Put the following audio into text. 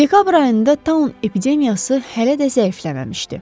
Dekabr ayında taun epidemiyası hələ də zəifləməmişdi.